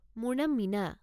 মোৰ নাম মীনা।